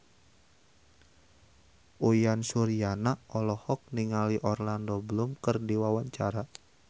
Uyan Suryana olohok ningali Orlando Bloom keur diwawancara